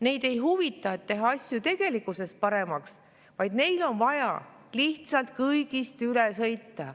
Neid ei huvita asjade tegelikkuses paremaks tegemine, vaid neil on vaja lihtsalt kõigist üle sõita.